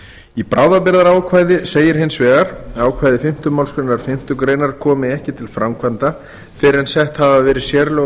í bráðabirgðaákvæði segir hins vegar að ákvæði fimmtu málsgrein fimmtu grein komi ekki til framkvæmda fyrr en sett hafi verið sérlög